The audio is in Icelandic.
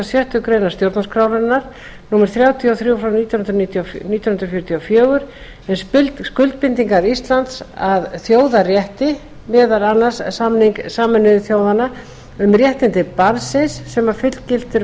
sjöttu grein stjórnarskrárinnar númer þrjátíu og þrjú frá nítján hundruð fjörutíu og fjögur og skuldbindingar íslands að þjóðarétti meðal annars samning sameinuðu þjóðanna um réttindi barnsins sem fullgiltur var